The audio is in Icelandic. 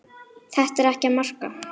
Þetta er ekkert að marka.